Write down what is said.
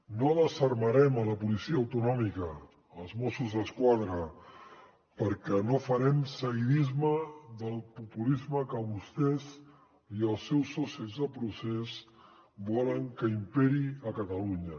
no desarmarem la policia autonòmica els mossos d’esquadra perquè no farem seguidisme del populisme que vostès i els seus socis de procés volen que imperi a catalunya